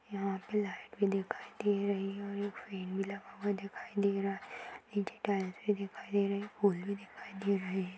यहाँ पे लाइट भी दिखाई दे रही है।